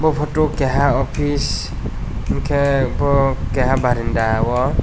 photo keha office enke bokeha barenda o.